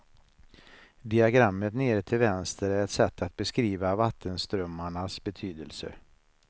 Diagrammet nere till vänster är ett sätt att beskriva vattenströmmarnas betydelse.